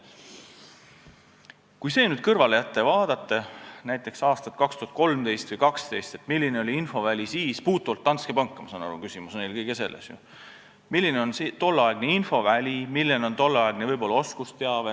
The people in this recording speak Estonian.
Jätame selle nüüd kõrvale ja vaatame näiteks aastat 2013 või 2012, seda, milline oli siis infoväli ja milline oli tolleaegne oskusteave.